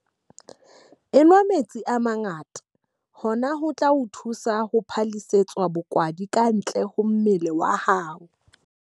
Enwa metsi a mangata - hona ho tla o thusa ho phallisetsa bokwadi kantle ho mmele wa hao.